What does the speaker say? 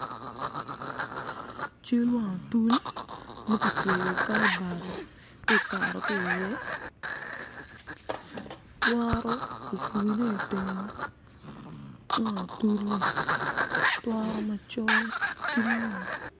Cal wang otul ma kicweyo kalbat tye kakato ki iye twaro ofurne iteng wang otul-li twaro macol ki lum